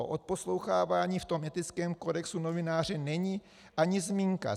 O odposlouchávání v tom etickém kodexu novináře není ani zmínka.